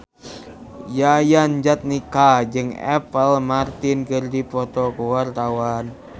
Yayan Jatnika jeung Apple Martin keur dipoto ku wartawan